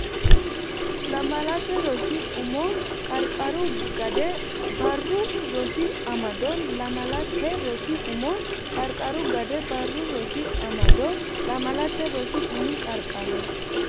Lamalate Rosi Umo Qarqaru Gade Barru Rosi Amado Lamalate Rosi Umo Qarqaru Gade Barru Rosi Amado Lamalate Rosi Umo Qarqaru.